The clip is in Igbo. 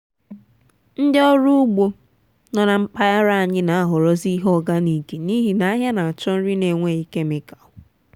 ndị ọrụ ugbo nọ na mpaghara anyị n’ahọrọzi ihe oganik n'ihi na ahịa n’achọ nri n’enweghi kemịkal